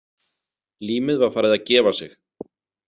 Límið var farið að gefa sig.